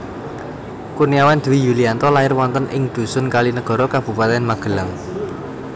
Kurniawan Dwi Yulianto lair wonten ing dhusun Kalinegoro Kabupatèn Magelang